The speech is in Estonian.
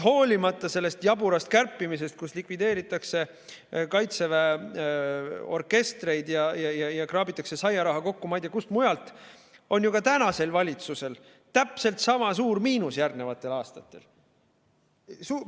Hoolimata sellest jaburast kärpimisest, kus likvideeritakse Kaitseväe orkestreid ja kraabitakse saiaraha kokku, ma ei tea, kust mujalt, on ju ka tänasel valitsusel järgnevatel aastatel täpselt sama suur miinus.